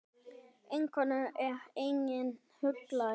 Einokun er einnig huglæg.